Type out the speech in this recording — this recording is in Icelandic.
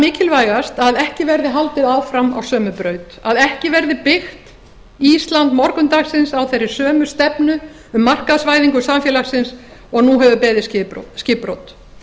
mikilvægast að ekki verði haldið áfram á sömu braut að ekki verði byggt ísland morgundagsins á þeirri sömu stefnu um markaðsvæðingu samfélagsins og nú hefur beðið skipbrot